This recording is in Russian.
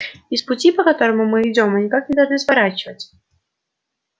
и с пути по которому мы идём мы никак не должны сворачивать